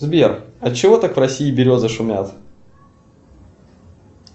сбер от чего так в россии березы шумят